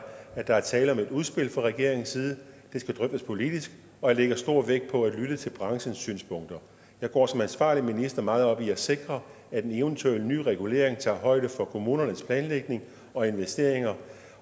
at der er tale om et udspil fra regeringens side det skal drøftes politisk og jeg lægger stor vægt på at lytte til branchens synspunkter jeg går som ansvarlig minister meget op i at sikre at en eventuel ny regulering tager højde for kommunernes planlægning og investeringer